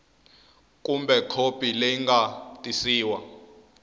kumbe khopi leyi nga tiyisiwa